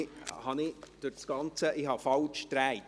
Ich habe meine Unterlagen falschrum gedreht.